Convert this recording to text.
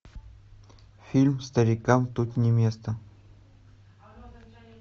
фильм старикам тут не место